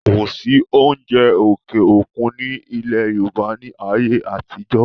kò sí oúnjẹ òkè òkun ní ilẹ̀ yorùbá ní ayé àtijọ́